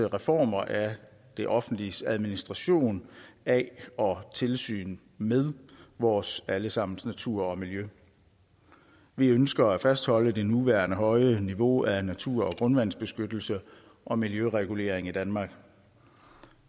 reformer af det offentliges administration af og tilsyn med vores alle sammens natur og miljø vi ønsker at fastholde det nuværende høje niveau af natur og grundvandsbeskyttelse og miljøregulering i danmark